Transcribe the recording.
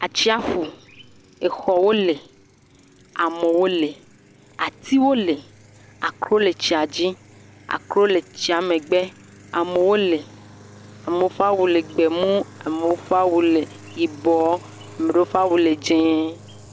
Atsiaƒu, exɔwo le, amewo le, atiwo le, akro le tsia dzi, akro le tsia megbe, amewo le, amewo ƒe awu gbemu, ame ɖewo ƒe awu le yibɔ, ame ɖewo ƒe awu dzee.